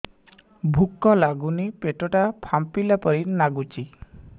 ଭୁକ ଲାଗୁନି ପେଟ ଟା ଫାମ୍ପିଲା ପରି ନାଗୁଚି